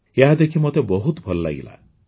ଏହା ଦେଖି ମୋତେ ବହୁତ ଭଲ ଲାଗିଲା